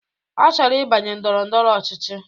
Ọ chọrọ ibanye ndọrọ ndọrọ ọchịchị